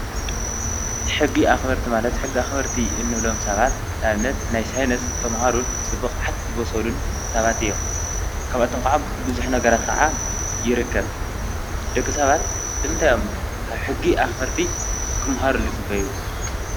ሕጊ ኣኽበርቲ ማለት ሕጊ ኣኽበርቲ እንብሎም ሰባት ንኣብነት ናይ ሳይንስ ተምሃሩን ብብቕዓት ዝበሰሉን ሳባት እዮም። ካብኣቶም ከዓ ብዙሕ ነገራት ኸዓ ይርክብ። ድቂ ሰባት ንምንታይ እዮም ካብ ሕጊ ኣኽበርቲ ኽምሃሩ ዝፅበዩ?